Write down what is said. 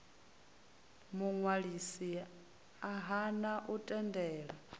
muṅwalisi a hana u tendela